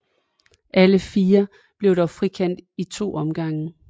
Alle fire blev dog frikendt i to omgange